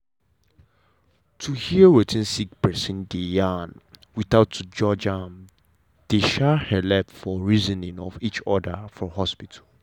to hear wetin sick persin dey yarn without to judge am dey um helep for reasoning of each other for hospital.